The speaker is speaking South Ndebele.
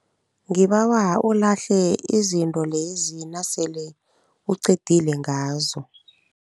Ngibawa ulahle izinto lezi nasele uqedile ngazo.